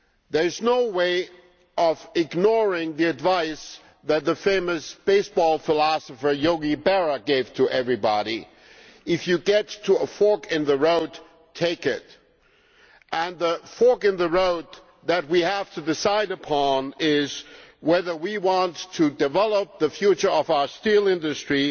There is no way of ignoring the advice that the famous baseball philosopher Yogi' Berra gave to everybody when you come to a fork in the road, take it! And the fork in the road that we have to decide upon is whether we want to develop the future of our steel industry